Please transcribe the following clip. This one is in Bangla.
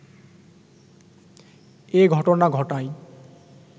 এ ঘটনা ঘটায়